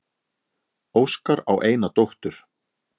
Óskar á eina dóttur.